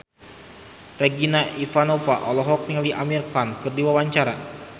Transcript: Regina Ivanova olohok ningali Amir Khan keur diwawancara